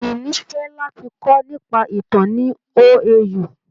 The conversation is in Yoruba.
Ìní fẹ́ láti kọ́ nípa ìtàn ní OAU.